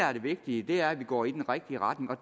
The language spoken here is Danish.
er det vigtige er at vi går i den rigtige retning og